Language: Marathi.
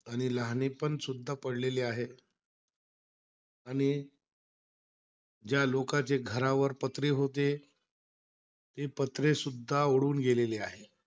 आणि लहानेपनसुद्धा पडलेले आहेत. आणि ज्या लोकांच्या घरावर पत्रे होते ते पत्रेसुद्धा उडून गेलेले आहेत.